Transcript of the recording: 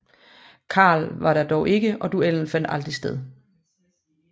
Karl var der dog ikke og duellen fandt aldrig sted